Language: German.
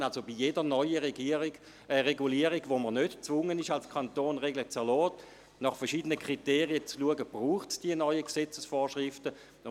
Das heisst, dass wir bei jeder neuen Regulierung, zu welcher wir als Kanton nicht gezwungen sind, aufgrund verschiedener Kriterien schauen müssen, ob es diese neuen Gesetzesvorschriften braucht.